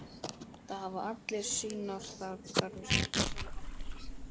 Það hafa allir sínar þarfir.